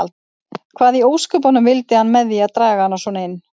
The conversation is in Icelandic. Hvað í ósköpunum vildi hann með því að draga hana svona inn.